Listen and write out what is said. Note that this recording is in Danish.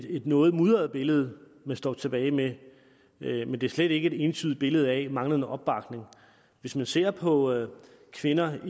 et noget mudret billede man står tilbage med men det er slet ikke et entydigt billede af manglende opbakning hvis man ser på kvinder